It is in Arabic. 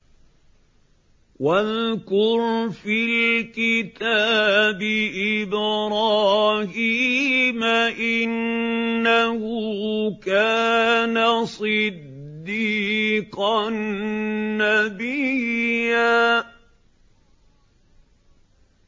وَاذْكُرْ فِي الْكِتَابِ إِبْرَاهِيمَ ۚ إِنَّهُ كَانَ صِدِّيقًا نَّبِيًّا